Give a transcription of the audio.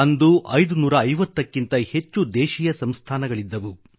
ಅಂದು 550 ಕ್ಕಿಂತ ಹೆಚ್ಚು ದೇಶೀಯ ಸಂಸ್ಥಾನಗಳಿದ್ದವು